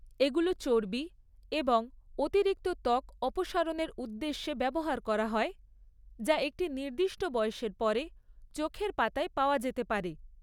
এগুলো চর্বি এবং অতিরিক্ত ত্বক অপসারণের উদ্দেশ্যে ব্যবহার করা হয় যা একটি নির্দিষ্ট বয়সের পরে চোখের পাতায় পাওয়া যেতে পারে।